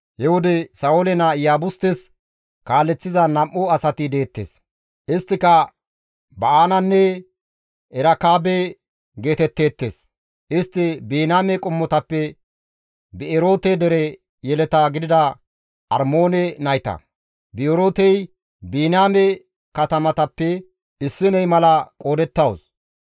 He wode Sa7oole naa Iyaabustes kaaleththiza nam7u asati deettes; isttika Ba7aananne Erekaabe geetetteettes; istti Biniyaame qommotappe Bi7eroote dere yeleta gidida Armoone nayta; Bi7erootey Biniyaame katamatappe issiney mala qoodettawus.